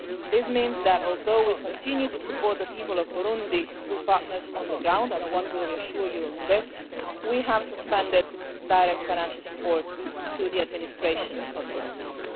This means that, although we continue to support the people of Burundi through partners on the ground and I want to reassure you on that point we have suspended direct financial support to the administration of Burundi.